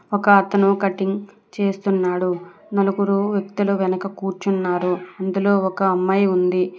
ఒక అతను కటింగ్ చేస్తున్నాడు నలుగురు వ్యక్తులు వెనుక కూర్చున్నారు అందులో ఒక అమ్మాయి ఉంది.